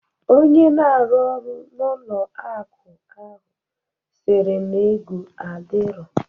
Onye na arụ orụ n'ụlọ akụ ahụ sịrị na ego adirọ